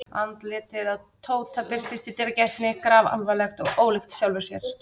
Andlitið á Tóta birtist í dyragættinni grafalvarlegt og ólíkt sjálfu sér.